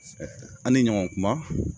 A ni ɲɔgɔn kuma